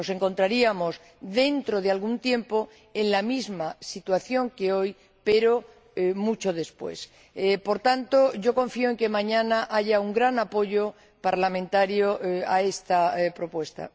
Nos encontraríamos, dentro de algún tiempo, en la misma situación que hoy, pero mucho después. Por tanto, confío en que mañana haya un gran apoyo parlamentario a esta propuesta.